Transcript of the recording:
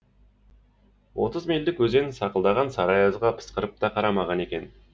отыз мильдік өзен сақылдаған сары аязға пысқырып та қарамаған екен